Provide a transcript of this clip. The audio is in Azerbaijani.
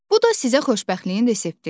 Bu da sizə xoşbəxtliyin resepti.